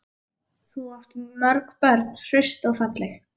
Þú átt mörg börn, hraust og falleg.